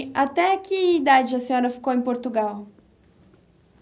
até que idade a senhora ficou em Portugal?